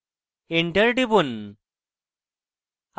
এবং enter টিপুন